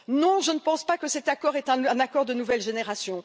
Non, je ne pense pas que cet accord soit un accord de nouvelle génération.